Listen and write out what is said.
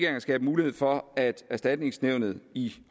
at skabe mulighed for at erstatningsnævnet i